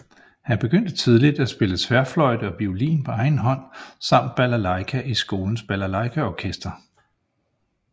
Han begyndte tidlig at spille tværfløjte og violin på egen hånd samt balalajka i skolens balalajkaorkester